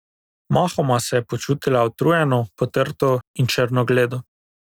Mahoma se je počutila utrujeno, potrto in črnogledo.